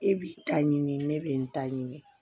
E b'i ta ɲini ne bɛ n ta ɲini